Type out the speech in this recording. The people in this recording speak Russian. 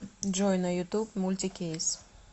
джой на ютуб мультикейс